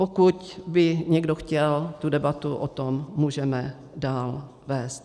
Pokud by někdo chtěl, tu debatu o tom můžeme dál vést.